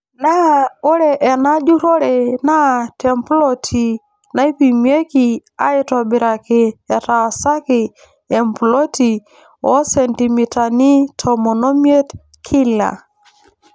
Naa ore ena jurrore naa temploti naipimiki aaitobiraki etaasaki emploti oo sentimitani tomon omiet kila.